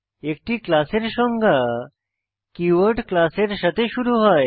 একটি ক্লাস এর সংজ্ঞা কীওয়ার্ড ক্লাস এর সাথে শুরু হয়